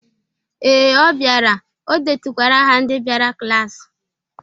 Ee, ọ biara. Ọ detukwara aha ndị biara klasị